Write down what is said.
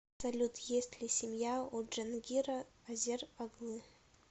салют есть ли семья у джангира азер оглы